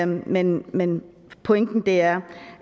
men men pointen er